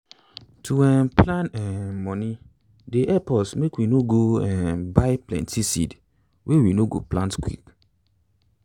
to um plan um money dey help us make we no go um buy plenty seed wey we no go plant quick.